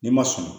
N'i ma sɔn